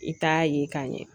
I t'a ye ka ɲɛ